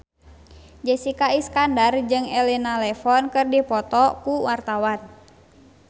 Jessica Iskandar jeung Elena Levon keur dipoto ku wartawan